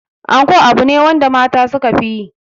Anko abu ne wanda mata suka fi yi.